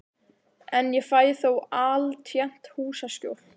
En ég fæ þó altént húsaskjól.